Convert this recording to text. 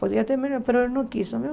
Podia ter melho, mas ele não quis.